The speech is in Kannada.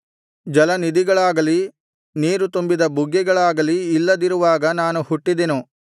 ಜಲನಿಧಿಗಳಾಗಲಿ ನೀರು ತುಂಬಿದ ಬುಗ್ಗೆಗಳಾಗಲಿ ಇಲ್ಲದಿರುವಾಗ ನಾನು ಹುಟ್ಟಿದೆನು